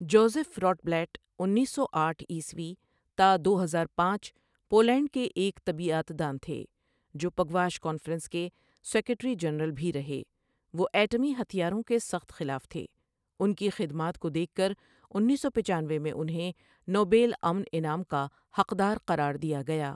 Joseph Rotblat انیس سو اٹھ عیسوی تا دو ہزار پانچ پو لینڈ کے ایک طبیعیات دان تھے جو پگواش کانفرنس کے سیکیٹری جرنل بھی رہے وہ ایٹمی ہتھیاروں کے سخت خلاف تھےانکی خدمات کودیکھ کرانیس سو پچانوے میں انھیں نوبل امن انعام کا حق دار قرار دیا گیا ۔